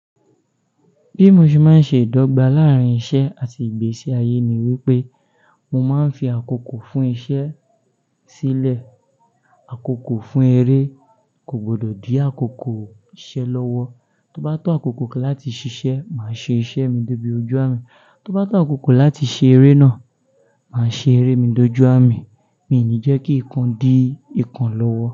Bí mo ṣe máa ń ṣe ìdọ́gba láàárín iṣẹ́ àti ìgbésí ayé ni wípé mo máa ń fi àkókò fún iṣẹ́ sílẹ̀. Àkókò fún eré kò gbọdọ̀ di àkókò iṣẹ́ lọ́wọ́. Tó bá tó àkókò láti ṣiṣẹ́, màá ṣe iṣẹ́ mi dé ibi ojú àmì. Tó bá tó àkókò láti ṣeré náà, má ṣeré dójú àmì. Mi ò ní jẹ́ kí nǹkan di ikan lọ́wọ́.